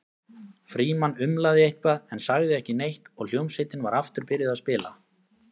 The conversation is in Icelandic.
Frímann umlaði eitthvað en sagði ekki neitt og hljómsveitin var aftur byrjuð að spila.